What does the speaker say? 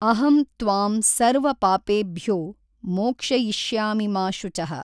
ಅಹಂ ತ್ವಾಂ ಸರ್ವ ಪಾಪೇಭ್ಯೋ ಮೋಕ್ಷಯಿಷ್ಯಾಮಿ ಮಾ ಶುಚಃ.